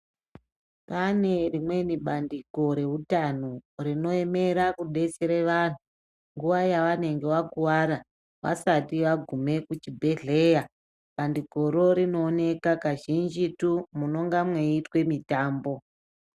Kwaane rimweni bandiko reutano, rinoemera kudetsere vantu nguwa yevanenge vakuwara, vasati vagume kuchibhedhleya. Bandikoro rinooneka kazhinjitu munonga mweiitwe mitambo.